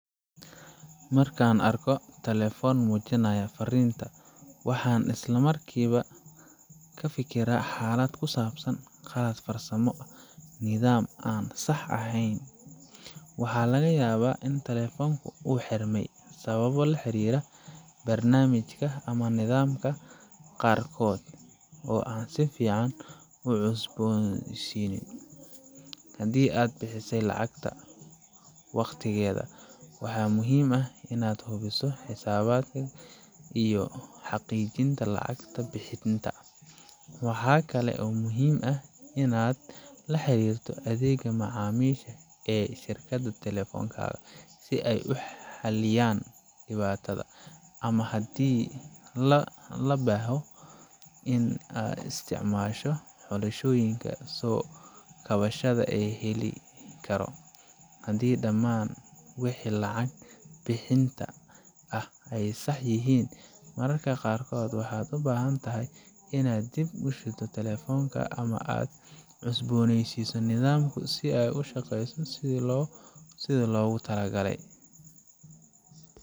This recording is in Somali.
Markan arko telefon mujinaya farinta waan islamarkiba kafikiraa xalad ku sabsan qab farsamo. Nidam an sax aheyn waxa laga yawa ini talefonka u xirmay sababo la xirira barnamishka ama qarkod oo an si fican u cusboneysinin. Hadi aad bixisay lacagta waqtigeda waxa muhim inaad hubiso lacagta bixinta, waxa kale oo muhim ah inaad laxirito adhega macamisha ee shirkad talefonkaga si ay u haliyan dibada ama aa laheshiso wixi kusabsan daman maal gelinta. Maraka qarkod waxan u bahan tahay inaad dib u shido ama cusboneysiso nidamka sidha logu talo galay.